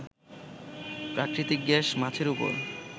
প্রাকৃতিক গ্যাস, মাছের উপর